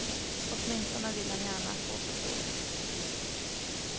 Åtminstone vill han gärna få oss att tro det.